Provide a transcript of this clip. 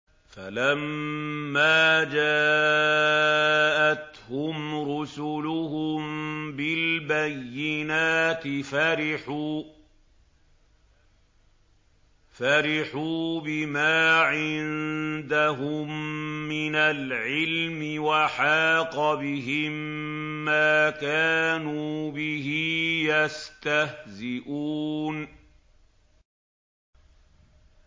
فَلَمَّا جَاءَتْهُمْ رُسُلُهُم بِالْبَيِّنَاتِ فَرِحُوا بِمَا عِندَهُم مِّنَ الْعِلْمِ وَحَاقَ بِهِم مَّا كَانُوا بِهِ يَسْتَهْزِئُونَ